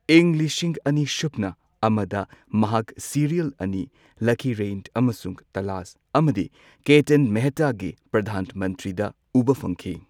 ꯏꯪ ꯂꯤꯁꯤꯡ ꯑꯅꯤ ꯁꯨꯞꯅ ꯑꯃꯗ ꯃꯍꯥꯛ ꯁꯤꯔꯤꯌꯦꯜ ꯑꯅꯤ, ꯂꯀꯤꯔꯩꯟ ꯑꯃꯁꯨꯡ ꯇꯂꯥꯁ, ꯑꯃꯗꯤ ꯀꯦꯇꯟ ꯃꯦꯍꯇꯥꯒꯤ ꯄ꯭ꯔꯙꯥꯟ ꯃꯟꯇ꯭ꯔꯤꯗ ꯎꯕ ꯐꯪꯈꯤ꯫